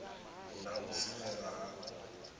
na u dzimelwa ha u